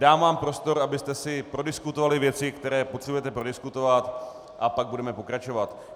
Dám vám prostor, abyste si prodiskutovali věci, které potřebujete prodiskutovat, a pak budeme pokračovat.